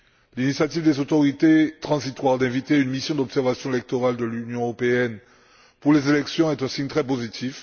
L'initiative des autorités transitoires d'inviter une mission d'observation électorale de l'Union européenne pour les élections est un signe très positif.